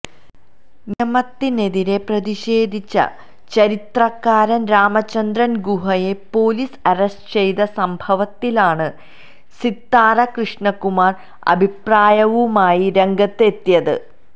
നിയമത്തിനെതിരെ പ്രതിഷേധിച്ച ചരിത്രകാരന് രാമചന്ദ്ര ഗുഹയെ പോലീസ് അറസ്റ്റ് ചെയ്ത സംഭവത്തിലാണ് സിത്താര കൃഷ്ണകുമാര് അഭിപ്രായവുമായവുമായി രംഗത്ത് എത്തിയത്